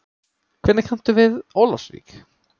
Hvernig kanntu við Ólafsvík?